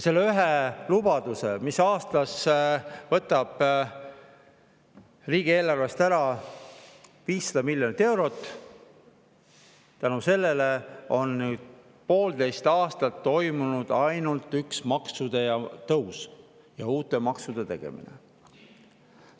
Selle ühe lubaduse tõttu, mis aastas võtab riigieelarvest ära 500 miljonit eurot, on poolteist aastat toimunud ainult üks maksude tõus ja uute maksude tegemine.